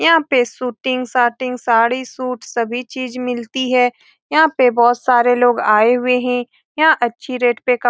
यहाँ पे suiting shirting sari suit सभी चीज़ मिलती है यहाँ पे बहुत सारे लोग आए हुए हैं यहाँ अच्छी रेट पे --